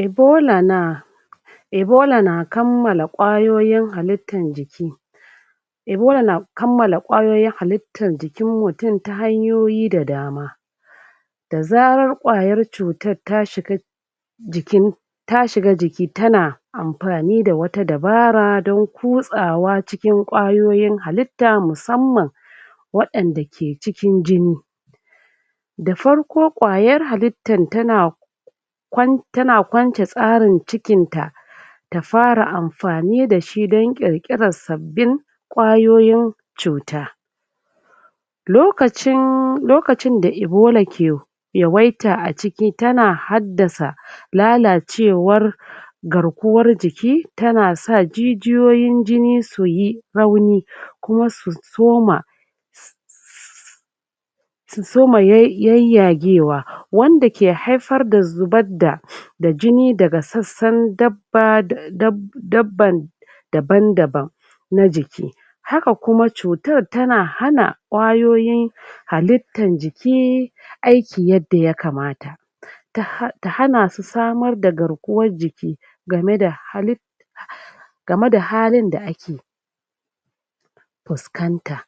ebola naa ebola na kammala kwayoyin halittan jiki ebola na kalmala kwayoyin halittan jiki mutun ta hanyoyi da dama da zarar kwayan tsutan ta shiga jikin ta shiga jiki ta na anfani da wata dabara dan kuzawa wajen kwayoyin haltta musamman wayanda ke cikin jini da farko kwayan halittan tana tana kwance tsarin cikin ta ta fara anfanmi dashi, dan kirkiran sabbin kwayoyin tsuta lokacinn... lokacin da ebola ke yawaita a ciki tana haddasa lalacewar garkuwar jiki tana sa jijiyon jini suyi rauni kuma su so ma su so ma yayyagewa wadda ke haifar da zubar da da jini daga sassan dabba, da babban da daban daban na jiki haka kuma cutan tana hana kwayoyin halittan jiki aiki yadda ya kamata ta hanasu samar da garkiwan jiki game da halittan game da halin da ake fuskanta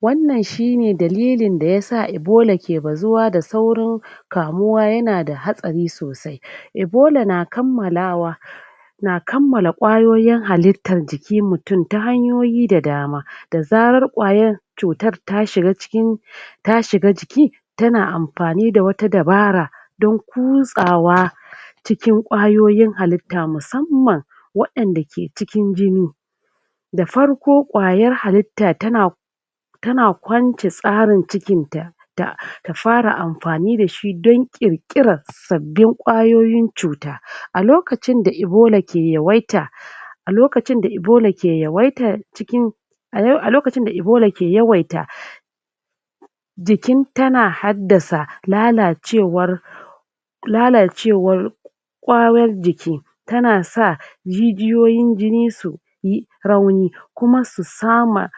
wan nan shi ne dalilin da yasa ebola ke bazuwa da saurin kamuwa yana da hadari sosai ebola na kammalawa na kammala kwayoyin halittan jikin mtunnta hanyoyi da dama da zarar kwayar cutar ta shiga cikin ta shiga jiki tana anfani da wata dabara dan kuzawa cikin kwayoyin halitta musamman wayanda ke cikin jini da farko kwayar halitta tana tana kwance tsarin cikin ta ta fara anfani da shi dan kirkiran sabbin kwayoyin cuta a lokacin da ebola ke yawaita a lokacin da ebola ke yawaita cikin a lokacin da ebola ke yawaita jikin tana haddasa lalacewar lalacewar kwayoyin jiki ta na sa jijiyoyin jini su yi rauni kuma su sama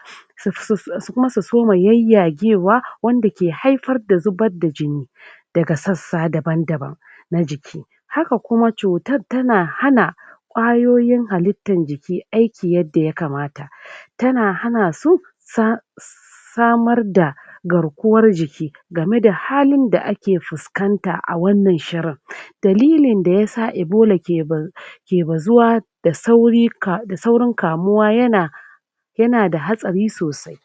kuma su soma yayyagewa wadda ke haifan da zubar da jini daga sassa daban daban na jiki haka kuma tsutar tana hana kwayoyin halittan jiki aiki yadda ya kamata tana hanasu samar da samar da garkuwan jiki game da halin da ake fuskata a wannan shirin dalilin da yasa ebola ke bazu.. ke bazuwa da sauri, da saurin kamuwa yana yana da hatari sosai